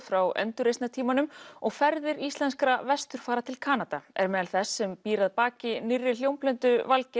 frá endurreisnartímanum og ferðir íslenskra vesturfara til Kanada er meðal þess sem býr að baki nýrri hljómplötu Valgeirs